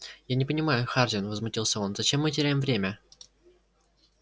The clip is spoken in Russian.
я не понимаю хардин возмутился он зачем мы теряем время